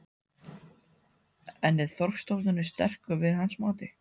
En er þorskstofninn sterkur að hans mati?